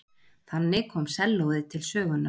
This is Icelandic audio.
Þannig kom sellóið til sögunnar.